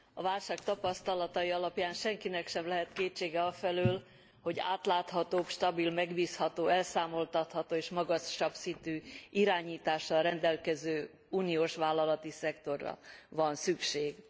A válság tapasztalatai alapján senkinek sem lehet kétsége afelől, hogy átláthatóbb, stabil, megbízható, elszámoltatható és magasabb szintű irányítással rendelkező uniós vállalati szektorra van szükség.